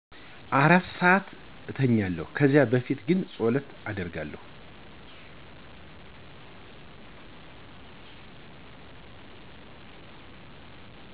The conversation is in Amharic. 4 ሰዓት እተኛለሁ ከዛ በፊት ግን ፀሎት አደርጋለሁ።